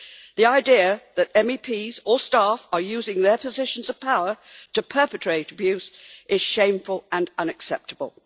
The idea that MEPs or staff are using their positions of power to perpetrate abuse is shameful and unacceptable.